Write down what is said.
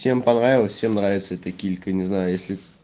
чем понравилась всем нравится это килька не знаю если